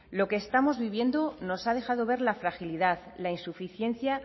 lo que estamos viviendo nos ha dejado ver la fragilidad la insuficiencia